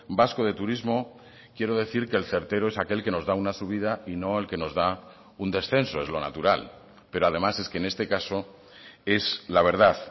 vasco de turismo quiero decir que el certero es aquel que nos da una subida y no el que nos da un descenso es lo natural pero además es que en este caso es la verdad